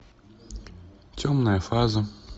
темная фаза